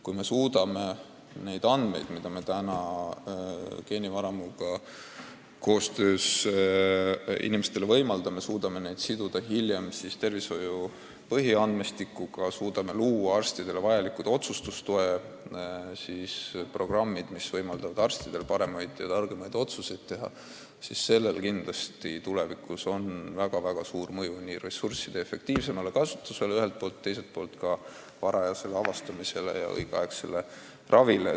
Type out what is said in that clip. Kui me suudame neid andmeid, mida me täna geenivaramuga koostöös inimestelt kogume, siduda hiljem tervishoiu põhiandmestikuga, kui me suudame luua arstidele vajalikud otsustustoe programmid, mis võimaldavad neil targemaid otsuseid teha, siis sellel on tulevikus kindlasti väga suur mõju ühelt poolt ressursside efektiivsemale kasutusele ja teiselt poolt ka haiguste varajasele avastamisele ja õigeaegsele ravile.